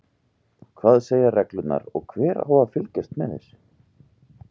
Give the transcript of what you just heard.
Hvað segja reglurnar og hver á að fylgjast með þessu?